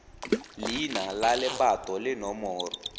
leina la lebato le nomoro